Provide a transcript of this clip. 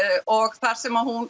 og þar sem hún